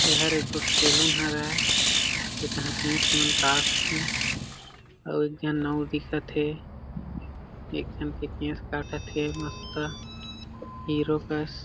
एहर एक गोट सेलून हरय ए तहा केश मन काटथे एक झन नाऊ दिखत हे एक झन के केश काटत हे मस्त हीरो कस--